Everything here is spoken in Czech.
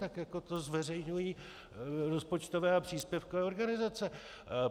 Tak jako to zveřejňují rozpočtové a příspěvkové organizace.